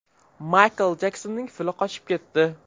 Maykl Jeksonning fili qochib ketdi.